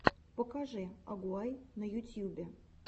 покажи агугай на ютьюбе